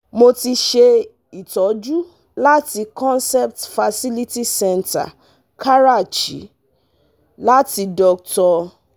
Mo ti ṣe itoju láti Concept Fertility Centre Karachi, láti Dr